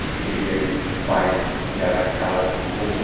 ইসস্টেডিয়াম -এর বাইরে যারা খেলা উপভোগ--